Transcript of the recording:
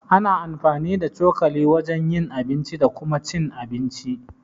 Ana amfani da cokali wajen yin abinci da Kuma cin abinci.